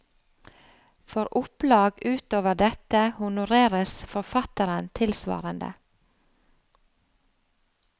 For opplag utover dette honoreres forfatteren tilsvarende.